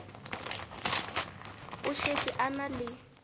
o šetše a na le